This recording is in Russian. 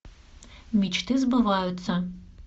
мечты сбываются